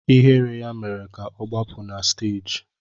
Ihere ya mere ka ọ gbapụ na stééji